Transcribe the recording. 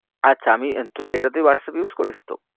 আচ্ছা আমি তুই এইটাতেই whatsapp use করিস তো?